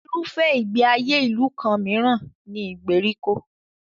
Irúfẹ́ ìgbé ayé ìlú kan mìíràn ni ìgbèríko.